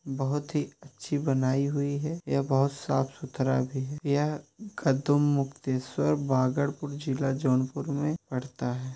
बहुत ही अच्छी बनाई हुई है यह बहुत साफ-सुथरा भी है यह खतूम मुक्तेश्वर बागरपुर जिला जौनपुर में पड़ता है।